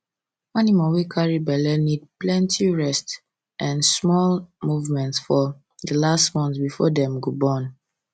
animal wey carry belle need plenty um rest um and small movement for the last month before dem go born